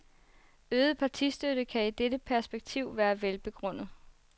Øget partistøtte kan i dette perspektiv være velbegrundet.